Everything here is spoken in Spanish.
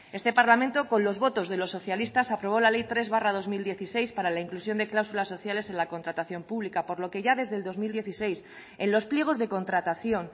este parlamento con los votos de los socialistas aprobó la ley tres barra dos mil dieciséis para la inclusión de cláusulas sociales en la contratación pública por lo que ya desde el dos mil dieciséis en los pliegos de contratación